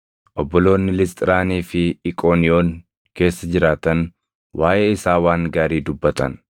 Obboloonni Lisxiraanii fi Iqooniyoon keessa jiraatan waaʼee isaa waan gaarii dubbatan.